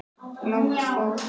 Lárus fór.